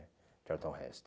Charlton Heston